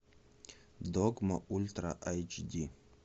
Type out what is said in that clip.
догма ультра айч ди